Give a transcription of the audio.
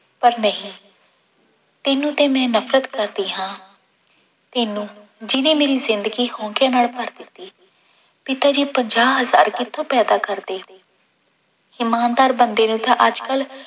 ਪਰ ਨਹੀਂ ਤੈਨੂੰ ਤੇ ਮੈਂ ਨਫ਼ਰਤ ਕਰਦੀ ਹਾਂ ਤੈਨੂੰ ਜਿਹਨੇ ਮੇਰੀ ਜ਼ਿੰਦਗੀ ਹੋਂਕੇ ਨਾਲ ਭਰ ਦਿੱਤੀ, ਪਿਤਾ ਜੀ ਪੰਜਾਹ ਹਜ਼ਾਰ ਕਿੱਥੋਂ ਪੈਦਾ ਕਰਦੇ ਇਮਾਨਦਾਰ ਬੰਦੇ ਨੂੰ ਤਾਂ ਅੱਜ ਕੱਲ੍ਹ